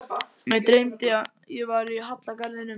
Mig dreymdi ég var í hallargarðinum.